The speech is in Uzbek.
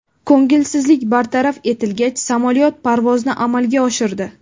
Ko‘ngilsizlik bartaraf etilgach, samolyot parvozni amalga oshirdi.